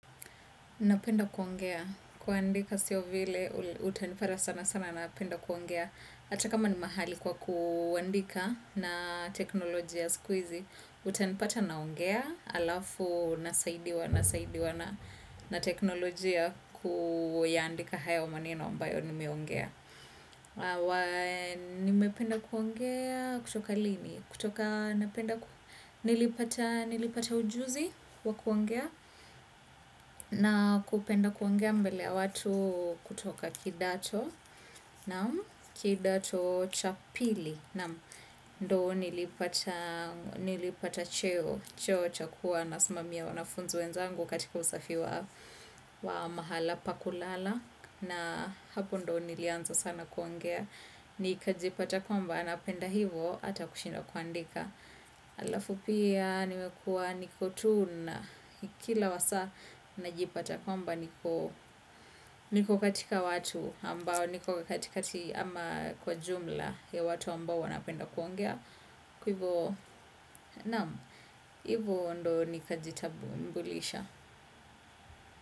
Napenda kuongea. Kuandika siyo vile, utanipara sana sana napenda kuongea. Ata kama ni mahali kwa kuandika na teknolojia ya siku hizi, utanipata naongea alafu nasaidiwa na teknolojia kuyaandika hayo maneno ambayo nimeongea. Wa nimependa kuongea kutoka lini. Kutoka napenda nilipata ujuzi wa kuongea na kupenda kuongea mbele ya watu kutoka kidato. Kidato cha pili naam. Ndo nilipata nilipata cheo. Cheo cha kuwa nasmamia wanafunzi wenzangu katika usafi wa mahala pa kulala na hapo ndo nilianza sana kuongea nikajipata kwamba napenda hivo ata kushinda kuandika alafu pia nimekua niko tu na kila wasaa najipata kwamba niko katika watu ambao niko katikakati ama kwa jumla ya watu ambao wanapenda kuongea kwa ivo naam hivo ndo nikajita mbulisha.